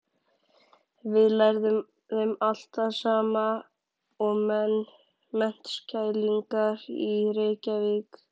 Við lærðum allt það sama og menntskælingar í Reykjavík.